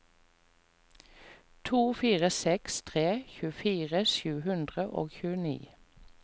to fire seks tre tjuefire sju hundre og tjueni